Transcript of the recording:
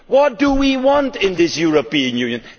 What do we want in this European Union?